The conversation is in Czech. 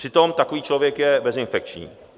Přitom takový člověk je bezinfekční.